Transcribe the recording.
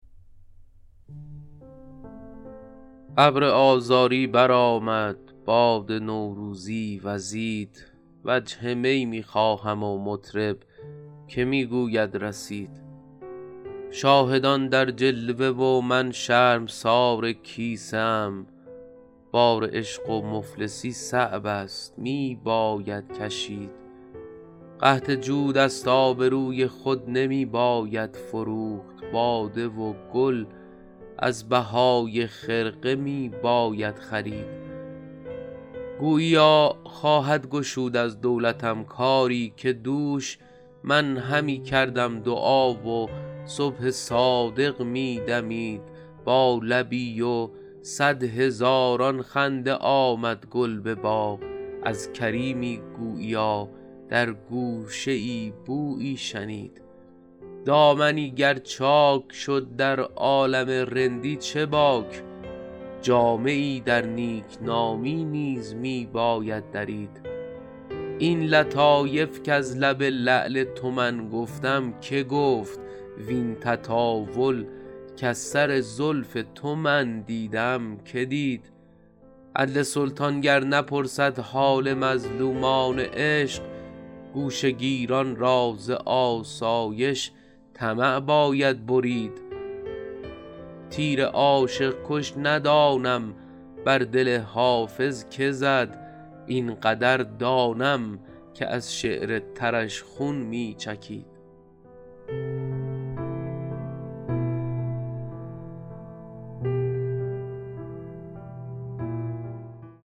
ابر آذاری برآمد باد نوروزی وزید وجه می می خواهم و مطرب که می گوید رسید شاهدان در جلوه و من شرمسار کیسه ام بار عشق و مفلسی صعب است می باید کشید قحط جود است آبروی خود نمی باید فروخت باده و گل از بهای خرقه می باید خرید گوییا خواهد گشود از دولتم کاری که دوش من همی کردم دعا و صبح صادق می دمید با لبی و صد هزاران خنده آمد گل به باغ از کریمی گوییا در گوشه ای بویی شنید دامنی گر چاک شد در عالم رندی چه باک جامه ای در نیکنامی نیز می باید درید این لطایف کز لب لعل تو من گفتم که گفت وین تطاول کز سر زلف تو من دیدم که دید عدل سلطان گر نپرسد حال مظلومان عشق گوشه گیران را ز آسایش طمع باید برید تیر عاشق کش ندانم بر دل حافظ که زد این قدر دانم که از شعر ترش خون می چکید